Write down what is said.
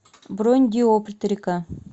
бронь диоптрика